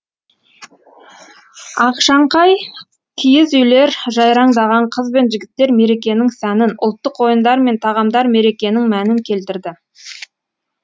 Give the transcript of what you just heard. ақшаңқай киіз үйлер жайраңдаған қыз бен жігіттер мерекенің сәнін ұлттық ойындар мен тағамдар мерекенің мәнін келтірді